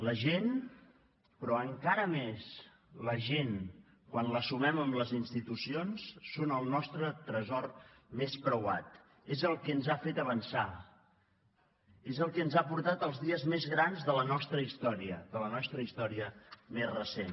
la gent però encara més la gent quan la sumem amb les institucions són el nostre tresor més preuat és el que ens ha fet avançar és el que ens ha portat els dies més grans de la nostra història de la nostra història més recent